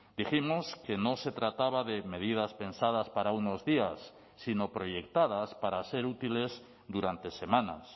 dijimos que no se trataba de medidas pensadas para unos días sino proyectadas para ser útiles durante semanas